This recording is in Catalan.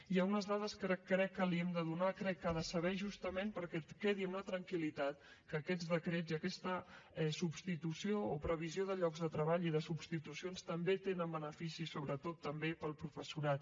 hi ha unes dades que crec que li hem de donar crec que ha de saber justament perquè quedi amb la tranquil·litat que aquests decrets i aquesta substitució o previsió de llocs de treball i de substitucions també tenen beneficis sobretot també per al professorat